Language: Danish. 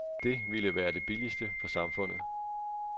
Det vil være det billigste for samfundet.